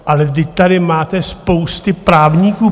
Ale vždyť tady máte spousty právníků.